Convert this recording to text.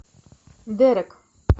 дерек